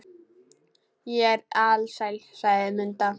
Ég er alsæl, sagði Munda.